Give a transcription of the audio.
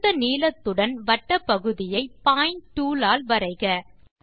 கொடுத்த நீளத்துடன் வட்டப்பகுதியை பாயிண்ட் டூல் ஆல் வரைக